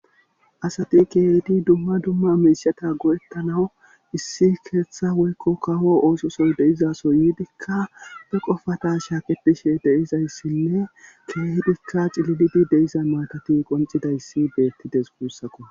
Asati keehidi dumma dumma miishata godettanawu issi keeththa woykko kawo oososoy deizaso yiidikka be qofata shaaketishe deizayssinne keehidikka cilididi deiza matati qoncidayssi beettides guussako